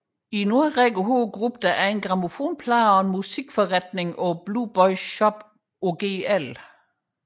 I en årrække havde gruppen egen grammofonplade og musik forretning Blue Boys Shop på Gl